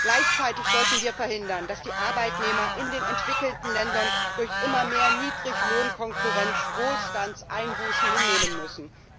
Gleichzeitig sollten wir verhindern, dass die Arbeitnehmer in den entwickelten Ländern durch immer mehr Niedriglohnkonkurrenz Wohlstandseinbußen hinnehmen müssen.